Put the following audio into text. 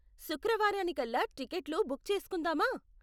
శుక్రవారానికల్లా టికెట్లు బుక్ చేసుకుందామా?